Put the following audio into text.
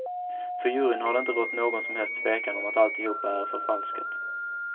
För juryn har det inte rått någon som helst tvekan om att alltihopa är förfalskat.